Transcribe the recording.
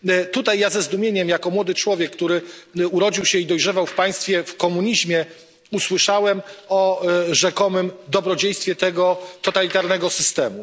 Tutaj ja ze zdumieniem jako młody człowiek, który urodził się i dojrzewał w komunizmie, usłyszałem o rzekomym dobrodziejstwie tego totalitarnego systemu.